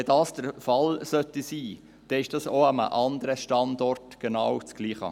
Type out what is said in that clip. Wenn das aber der Fall sein sollte, ist es auch an einem anderen Standort genau dasselbe.